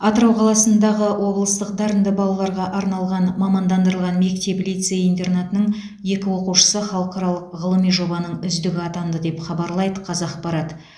атырау қаласындағы облыстық дарынды балаларға арналған мамандандырылған мектеп лицей интернатының екі оқушысы халықаралық ғылыми жобаның үздігі атанды деп хабарлайды қазақпарат